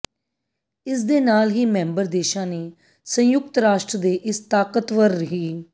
ਇਸਦੇ ਨਾਲ ਹੀ ਮੈਂਬਰ ਦੇਸ਼ਾਂ ਨੇ ਸੰਯੁਕਤ ਰਾਸ਼ਟਰ ਦੇ ਇਸ ਤਾਕਤਵਰ ਹਿ